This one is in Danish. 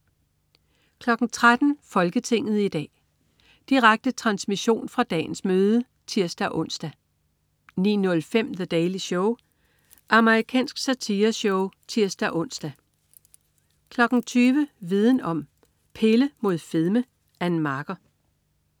13.00 Folketinget i dag. Direkte transmission fra dagens møde (tirs-ons) 19.05 The Daily Show. Amerikansk satireshow (tirs-ons) 20.00 Viden Om: Pille imod fedme. Ann Marker